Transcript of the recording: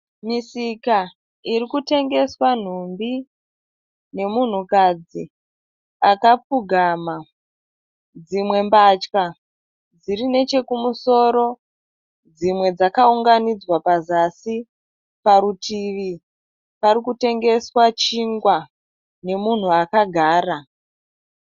Misika iri kutengeswa nhumbi nemunhukadzi akapfugama. Dzimwe mbatya dziri nechekumusoro dzimwe dzkaunganidzwa pazasi. Parutivi pari kutengeswa chingwa nemunhu akagara.